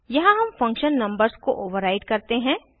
यहाँ हम function numbers को ओवर्राइड करते हैं